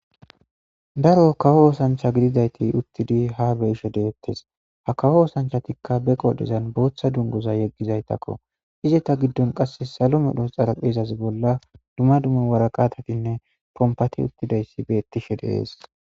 D aro kawo oosancha gididayti uttidi ha beishe deettes ha kawo oosanchatikka be qoodhezan booththa dungoza yeggizaytakko izeta giddon qasse salo medhos xaraphezaze bolla duma dume waraqatatinne pompati uttidayssi beettishe deees.